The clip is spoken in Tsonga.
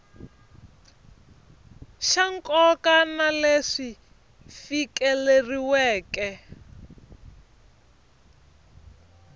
xa nkoka na leswi fikeleriweke